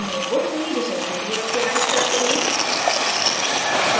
अणुओं को सही दिशा के लिए optimize करते हैं